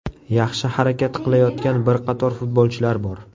Yaxshi harakat qilayotgan bir qator futbolchilar bor.